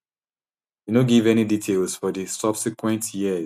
e no give any details for di subsequent years